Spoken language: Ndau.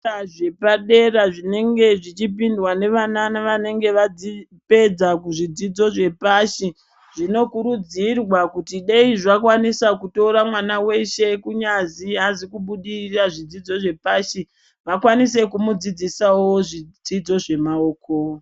Zvikora zvapadera zvinenge zvichipindwa nevana nevanenge vapedza kuzvidzidzo zvepashi, zvinokurudzirwa kuti dei zvakwanisa kutora mwana weshe, kunyazi aazi kubudirira zvidzidzo zvepashi, vakwanise kumudzidzisawo zvidzidzo zvemaoko.